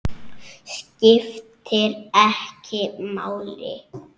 Skiptir ekki máli!